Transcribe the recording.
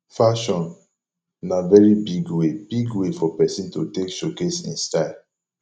fashion na very big way big way for persin to take showcase in style